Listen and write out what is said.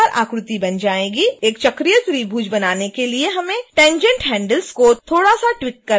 एक चक्रीय त्रिभुज बनाने के लिए हमें tangent handles को थोड़ा सा ट्वीक करना होगा